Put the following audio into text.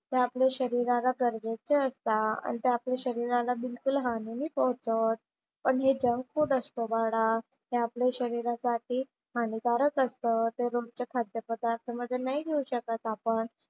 ते आपल्या शरीराला गरजेचे असतात आणि ते आपल्या शरीराला बिलकुल हानी नाही पोहोचवत. पण हे जंक फूड असतं बाळा, ते आपल्या शरीरासाठी हानिकारक असतं. ते रोजच्या खाद्यपदार्थ मध्ये नाही घेऊ शकत आपण.